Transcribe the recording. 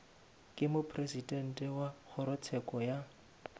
ke mopresidente wa kgorotsheko ya